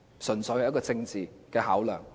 純粹是政治的考量。